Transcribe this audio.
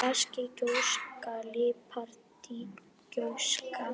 basísk gjóska líparít gjóska